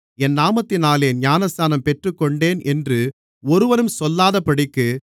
என் நாமத்தினாலே ஞானஸ்நானம் பெற்றுக்கொண்டேன் என்று ஒருவனும் சொல்லாதபடிக்கு